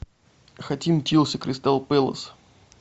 хотим челси кристал пэлас